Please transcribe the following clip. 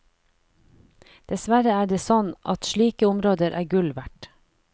Dessverre er det sånn at slike områder er gull verd.